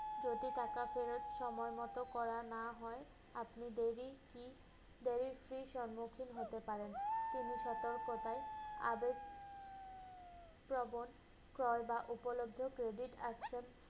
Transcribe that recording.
যদি টাকা ফেরত সময়মত করা না হয়, আপনি দেরি কি~ দেরির fee র সম্মুখীন হতে পারেন। তিনি সতর্কতায় আদবপ্রবন ক্রয় বা উপলব্ধ credit action